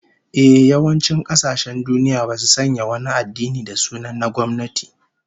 Ehh, yawancin kasashen duniya basu sanya wani addini da sunan na gwamnati